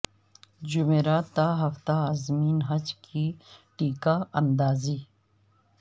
جمعرات تا ہفتہ عازمین حج کی ٹیکہ اندازی